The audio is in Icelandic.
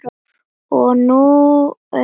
Og nú er hún farin.